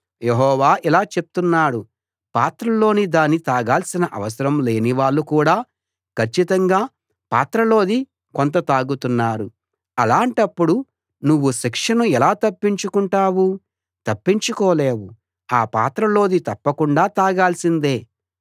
యెహోవా ఇలా చెప్తున్నాడు పాత్రలోని దాన్ని తాగాల్సిన అవసరం లేని వాళ్ళు కూడా కచ్చితంగా పాత్రలోది కొంత తాగుతున్నారు అలాంటప్పుడు నువ్వు శిక్షను ఎలా తప్పించుకుంటావు తప్పించుకోలేవు ఆ పాత్రలోది తప్పకుండా తాగాల్సిందే